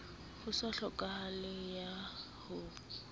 ho se tlhokahalo ya ho